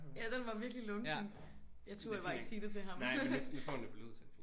Ja den var virkelig lunken. Jeg turde bare ikke sige det til ham